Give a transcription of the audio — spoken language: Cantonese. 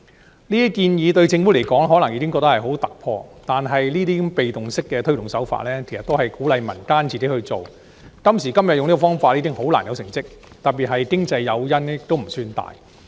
政府可能覺得這些建議已經十分突破，但如此被動的推動方式，其實只是鼓勵民間自行去做，今時今日以這種方法推行，將難以取得成績，特別是經濟誘因並不算大。